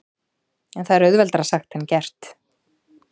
En það er auðveldara sagt en gert.